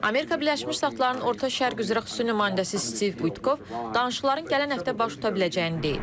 Amerika Birləşmiş Ştatlarının Orta Şərq üzrə xüsusi nümayəndəsi Stiv Kutkov danışıqların gələn həftə baş tuta biləcəyini deyib.